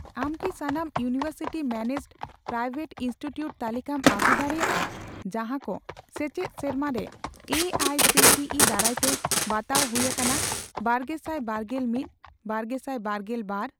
ᱟᱢ ᱠᱤ ᱥᱟᱱᱟᱢ ᱤᱭᱩᱱᱤᱣᱮᱨᱥᱤᱴᱤ ᱢᱮᱱᱮᱡᱰᱼᱯᱨᱟᱭᱣᱮᱴ ᱤᱱᱥᱴᱤᱴᱤᱭᱩᱴ ᱛᱟᱞᱤᱠᱟᱢ ᱟᱹᱜᱩ ᱫᱟᱲᱮᱭᱟᱜᱼᱟ ᱡᱟᱦᱟᱸᱠᱚ ᱥᱮᱪᱮᱫ ᱥᱮᱨᱢᱟᱨᱮ A I C T E ᱫᱟᱨᱟᱭᱛᱮ ᱵᱟᱛᱟᱣ ᱦᱩᱭ ᱟᱠᱟᱱᱟ ᱵᱟᱨᱜᱮᱥᱟᱭ ᱵᱟᱨᱜᱮᱞ ᱢᱤᱛᱼ ᱵᱟᱨᱜᱮᱥᱟᱭ ᱵᱟᱨᱜᱮᱞ ᱵᱟᱨ ?